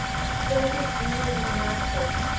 soviet union united